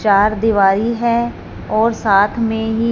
चार दिवारी है और साथ में ही--